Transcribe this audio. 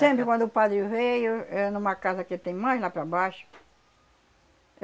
Sempre quando o padre veio, é numa casa que tem mais lá para baixo.